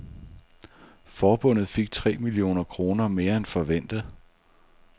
Forbundet fik tre millioner kroner mere end forventet.